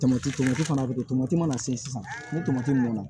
Tomati tomati fana bɛ kɛ tomati mana se sisan ni tomati nana